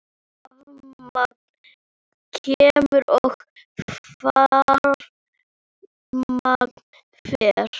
Rafmagn kemur og rafmagn fer.